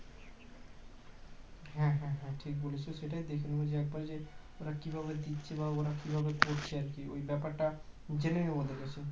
হ্যাঁ হ্যাঁ হ্যাঁ ঠিক বলেছো সেটাই দেখে নেবো যে ওরা কিভাবে দিচ্ছে বা ওরা কিভাবে করছে আর কি ওই ব্যাপারটা জেনে নেবো ওদের কাছ থেকে